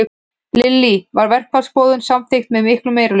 Lillý, var verkfallsboðun samþykkt með miklum meirihluta?